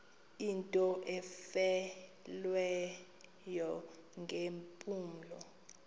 into efileyo ngeempumlo